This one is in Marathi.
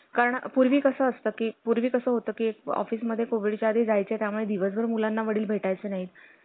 कारण पूर्वी कसं असतं की, पूर्वी कसं होतं की office मध्ये covid च्या आधी जायचे त्यामुळे दिवसभर मुलांना वडील भेटाय चं नाही.